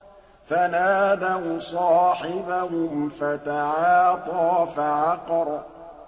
فَنَادَوْا صَاحِبَهُمْ فَتَعَاطَىٰ فَعَقَرَ